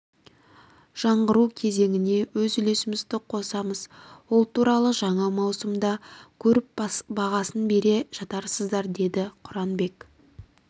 жаңғыру кезеңіне өз үлесімізді қосамыз ол туралы жаңа маусымда көріп бағасын бере жатарсыздар деді құранбек